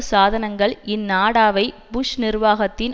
சாதனங்கள் இந்நாடாவை புஷ் நிர்வாகத்தின்